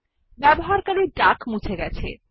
ব্যবহারকারী ডাক মুছে গেছে